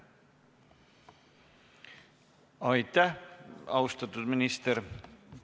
Aitäh, austatud minister!